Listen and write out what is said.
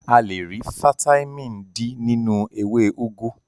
A le rí fataímìn D nínú ewé úgú.